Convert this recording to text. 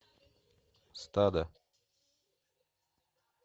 стадо